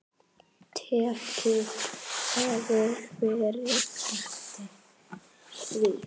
Tekið hefði verið eftir því.